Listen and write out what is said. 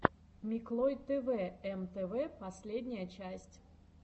миклой тэвэ эм тэ вэ последняя часть